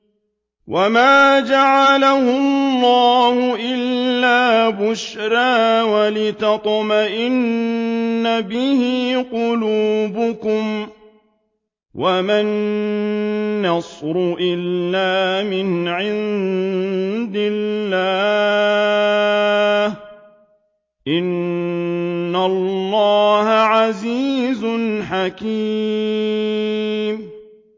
وَمَا جَعَلَهُ اللَّهُ إِلَّا بُشْرَىٰ وَلِتَطْمَئِنَّ بِهِ قُلُوبُكُمْ ۚ وَمَا النَّصْرُ إِلَّا مِنْ عِندِ اللَّهِ ۚ إِنَّ اللَّهَ عَزِيزٌ حَكِيمٌ